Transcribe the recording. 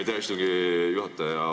Aitäh, istungi juhataja!